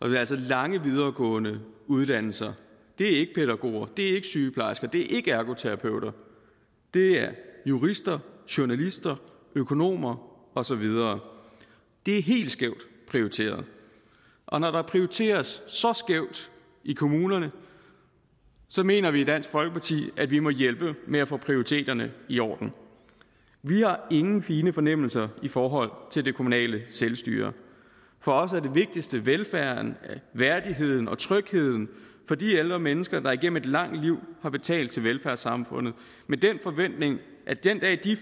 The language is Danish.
er altså lange videregående uddannelser det er ikke pædagoger det er ikke sygeplejersker det er ikke ergoterapeuter det er jurister journalister økonomer og så videre det er helt skævt prioriteret og når der prioriteres så skævt i kommunerne mener vi i dansk folkeparti at vi må hjælpe med at få prioriteterne i orden vi har ingen fine fornemmelser i forhold til det kommunale selvstyre for os er det vigtigste velfærden værdigheden og trygheden for de ældre mennesker der igennem et langt liv har betalt til velfærdssamfundet med den forventning at den dag de